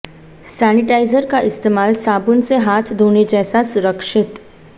sanitiser का इस्तेमाल साबुन से हाथ धोने जैसा सुरक्षित